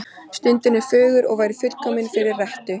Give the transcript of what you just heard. Stundin er fögur og væri fullkomin fyrir rettu.